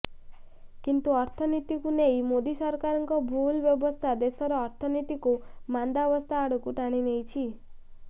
କିନ୍ତୁ ଅର୍ଥନୀତିକୁ ନେଇ ମୋଦୀ ସରକାରଙ୍କ ଭୁଲ୍ ବ୍ୟବସ୍ଥା ଦେଶର ଅର୍ଥନୀତିକୁ ମାନ୍ଦାବସ୍ଥା ଆଡ଼କୁ ଟାଣିନେଇଛି